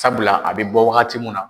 Sabula a bɛ bɔ wagati min na